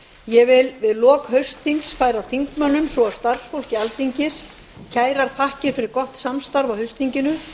ég vil við lok haustþings færa þingmönnum svo og starfsfólki alþingis kærar þakkir fyrir gott samstarf á haustþinginu